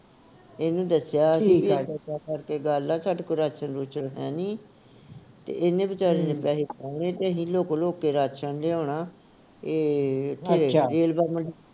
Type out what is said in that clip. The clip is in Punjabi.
ਇਹਨੂੰ ਦੱਸਿਆ ਸੀਗਾ ਕਿ ਗੱਲ ਆ ਸਾਡੇ ਕੋਲ ਰਾਸ਼ਨ ਰੂਸ਼ਨ ਹੈਨੀ ਤੇ ਇਹਨੇ ਵਿਚਾਰੇ ਨੇ ਪੈਹੇ ਪਾਏ ਤੇ ਅਹੀ ਲੁਕ ਲੁਕ ਕੇ ਰਾਸ਼ਨ ਲਿਆਉਣਾ ਏ ਰੇਲਵਾ ਮੰਡੀ